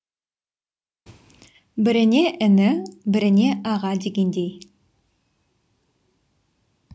біріне іні біріне аға дегендей